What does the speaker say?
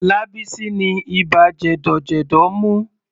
Lábísí ni ibà jẹ̀dọ̀jẹ̀dọ̀ mú.